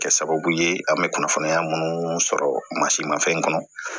Kɛ sababu ye an bɛ kunnafoniya munnu sɔrɔ ma fɛn kɔnɔ